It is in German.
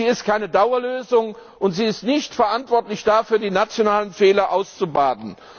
Sie ist keine Dauerlösung und sie ist nicht verantwortlich dafür, die nationalen Fehler auszubaden.